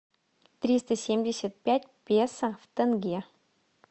триста семьдесят пять песо в тенге